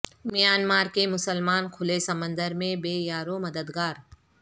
Myanmar کے مسلمان کھلے سمندر میں بے یارو مددگار